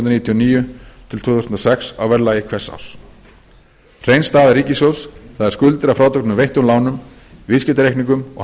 og níu til tvö þúsund og sex á verðlagi hvers árs hrein staða ríkissjóðs það er skuldir að frádregnum veittum lánum viðskiptareikningum og